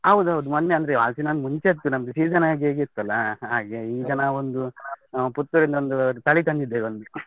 ಹೌದೌದು, ಮೊನ್ನೆ ಅಂದ್ರೆ ಹಲಸಿನ ಹಣ್ಣು ಮುಂಚೆ ಇತ್ತು ನಮ್ದು, season ಆಗಿ ಹೋಗಿತಲ್ಲಾ ಹಾಗೆ, ಈಗ ನಾವೊಂದು Puttur ಇಂದ ಒಂದು ತಳಿ ತಂದಿದ್ದೇವೆ ಒಂದು.